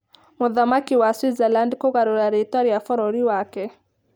Mũthamaki wa Swaziland Kũgarũra Rĩĩtwa rĩa Bũrũri Wake